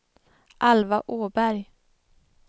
Alva Åberg